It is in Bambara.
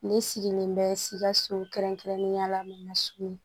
Ne sigilen bɛ sikaso kɛrɛnkɛrɛnnenya la